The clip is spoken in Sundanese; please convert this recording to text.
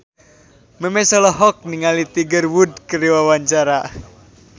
Memes olohok ningali Tiger Wood keur diwawancara